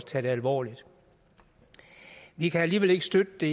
tages alvorligt vi kan alligevel ikke støtte det